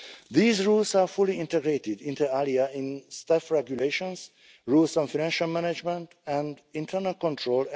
These rules are fully integrated inter alia in the Staff Regulations and the rules on financial management and internal control.